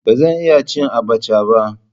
Ba zan iya ci abacha ba.